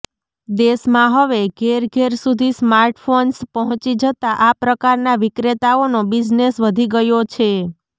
દેશમાં હવે ઘેર ઘેર સુધી સ્માર્ટફોન્સ પહોંચી જતા આ પ્રકારના વિક્રેતાઓનો બિઝનેસ વધી ગયો છે